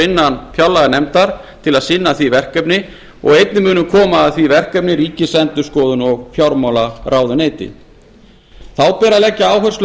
innan fjárlaganefndar til að sinna því verkefni og einnig munu ríkisendurskoðun og fjármálaráðuneyti koma að því þá ber að leggja áherslu